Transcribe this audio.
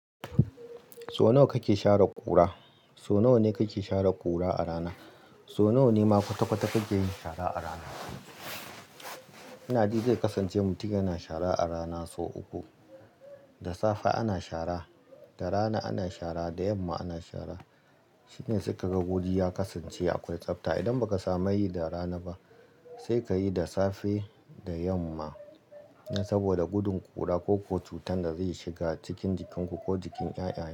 So nawa kake sha re ƙura? So nawa ne kake share ƙura a rana? So nawa ne ma kwata-kwata kake yin shara a rana? Inaji zai kasance mutin yana shara a rana sau uku. Da safe ana shara, da rana ana shara, da yamma ana shara. Shine saika ga guri ya kasance akwai tsabta, idan ba ka samu yi da rana ba, sai ka yi da safe da yamma, saboda gudun ƙura ko kuwa cutan da zai shiga cikin jikinku ko jikin ƴaƴayen.